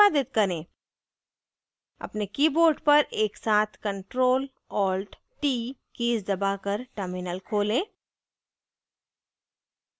अपने कीबोर्ड पर एक साथ ctrl+alt+t कीज दबाकर टर्मिनल खोलें